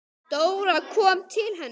Dóra kom til hennar.